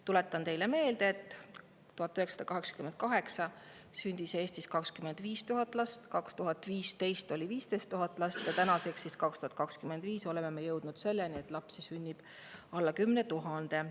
Tuletan teile meelde, et 1988. aastal sündis Eestis 25 000 last, 2015. aastal 15 000 last ja tänaseks, aastaks 2025 oleme me jõudnud selleni, et lapsi sünnib alla 10 000.